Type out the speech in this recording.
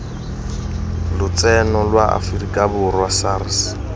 lotseno lwa aforika borwa sars